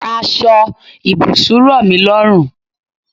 Aṣọ ibùsùn rọmi lọrun